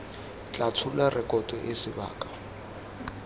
tla tshola rekoto eo sebaka